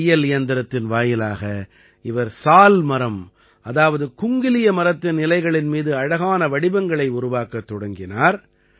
ஒரு தையல் இயந்திரத்தின் வாயிலாக இவர் சால் மரம் அதாவது குங்கிலிய மரத்தின் இலைகளின் மீது அழகான வடிவங்களை உருவாக்கத் தொடங்கினார்